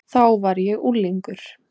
Þá var ég unglingur.